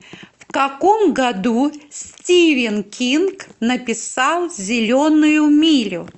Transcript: в каком году стивен кинг написал зеленую милю